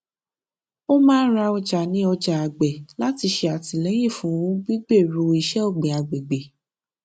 ó máa ń ra ọjà ní ọjà àgbẹ láti ṣè àtìlẹyìn fún gbígbèrú iṣẹ ọgbìn agbègbè